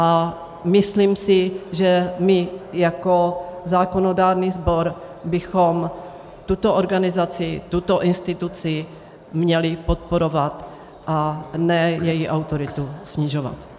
A myslím si, že my jako zákonodárný sbor bychom tuto organizaci, tuto instituci, měli podporovat, a ne její autoritu snižovat.